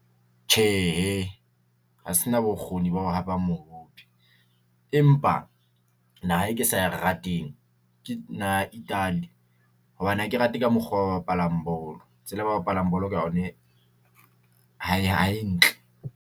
Tjhehe, ha se na bokgoni ba ho hapa mohope. Empa naha e ke sa e rateng ke naha Italy hobane ha ke rate ka mokgwa oo ba bapalang bolo. Tsela ba bapalang bolo ka yone ha e, ha e ntle.